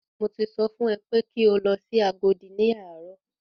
Mo ti sọ fún ẹ pé kí o lọ sí Agodi ní àárọ̀!